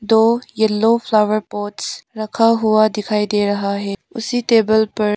दो yellow flower pots रखा हुआ दिखाई दे रहा है उसी टेबल पर --